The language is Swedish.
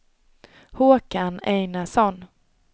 Håkan Einarsson